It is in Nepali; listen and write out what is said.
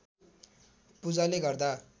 पूजाले गर्दा